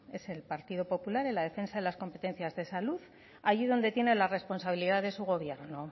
es el partido popular en la defensa de las competencias de salud allí donde tiene la responsabilidad de su gobierno